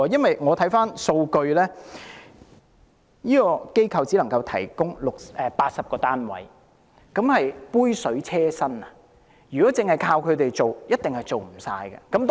回看數據，樂善堂只能提供80個單位，這是杯水車薪，如果單靠他們，一定無法處理更多個案。